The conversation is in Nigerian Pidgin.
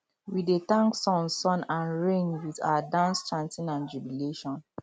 we dey thank sun sun and rain with our dance chanting and jubilation